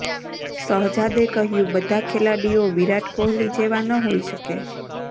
શહજાદે કહ્યું બધા ખેલાડીઓ વિરાટ કોહલી જેવા ન હોઈ શકે